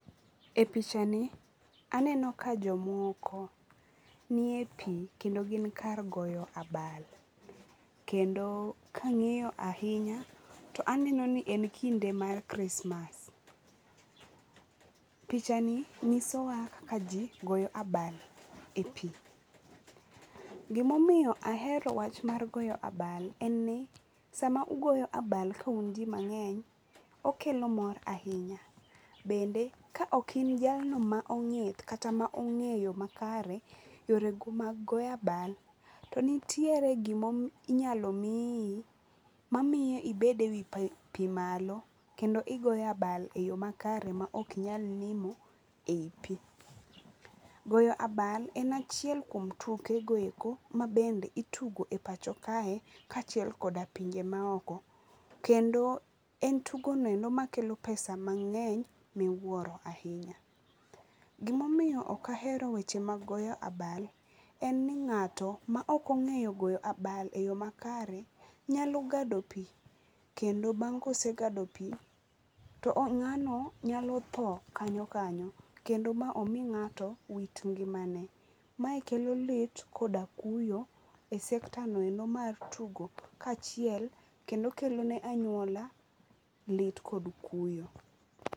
E pichani aneno ka jomoko nie pii kendo gin kar goyo abal kendo ka angiyo ahinya to aneno ka en kinde mar krismas. Pichani nyisowa kaka jii goyo abal e pii. Gima omiyo ahero wach mar goyo abal en ni sama ugoyo abal ka un jii mangeny okelo mor ahinya, bende ka ok in jalno ma onge, kata mongeyo makare yore mag goyo abal, to nitiere gima inyalo miyi mamoyo ibede ewii pii malo kendo igoyo abal e yoo makare maok inyal nimo ei pii. Goyo abal en achiel kuom tuke go eko mabende itugo e pacho kae kachiel kod e pinje maoko kendo en tugo noendo makelo pesa mangeny miwuoro ahinya. Gima omiyo ok ahero weche mag goyo abal en ni ngato maok ongeyo goyo abal e yoo makare nyalo gado pii kendo bang ka osegado tpii o ngano nyalo tho kanyo kanyo kendo ma omii ngato wit ngimane. Mae kelo lit koda kuyo e sekta noendo mar tugo kachiel kendo kelo ne anyuola lit kod kuyo